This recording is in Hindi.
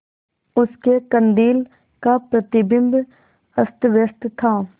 उसके कंदील का प्रतिबिंब अस्तव्यस्त था